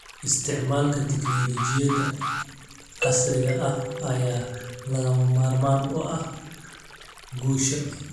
Isticmaalka tignoolajiyada casriga ah ayaa lagama maarmaan u ah guusha.